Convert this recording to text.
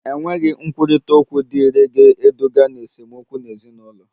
Enweghị nkwurịta okwu dị irè ga-eduga ná esemokwu n'ezinụlọ